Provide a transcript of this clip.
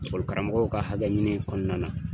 Ekɔli karamɔgɔw ka hakɛ ɲini kɔnɔna na.